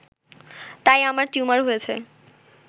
তাই আমার টিউমার হয়েছে